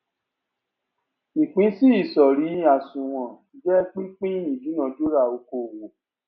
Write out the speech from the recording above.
ìpínsí ìsọrí àsunwon jẹ pípín ìdúnadúrà okòwò